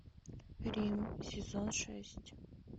рим сезон шесть